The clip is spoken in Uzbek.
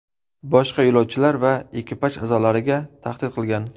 Boshqa yo‘lovchilar va ekipaj a’zolariga tahdid qilgan.